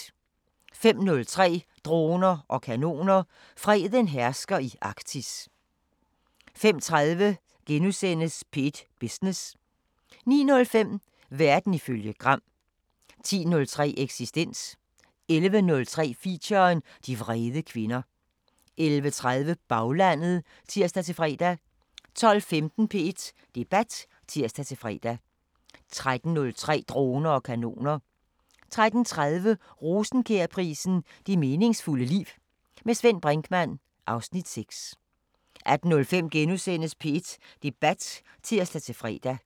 05:03: Droner og kanoner: Freden hersker i Arktis 05:30: P1 Business * 09:05: Verden ifølge Gram 10:03: Eksistens 11:03: Feature: De vrede kvinder 11:30: Baglandet (tir-fre) 12:15: P1 Debat (tir-fre) 13:03: Droner og kanoner 13:30: Rosenkjærprisen: Det meningsfulde liv. Med Svend Brinkmann (Afs. 6) 18:05: P1 Debat *(tir-fre)